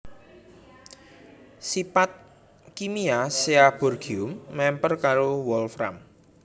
Sipat kimia Seaborgium mèmper karo wolfram